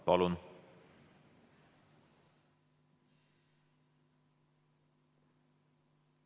Palun!